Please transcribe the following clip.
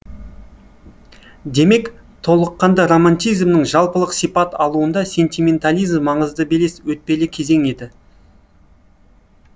демек толыққанды романтизмнің жалпылық сипат алуында сентиментализм маңызды белес өтпелі кезең еді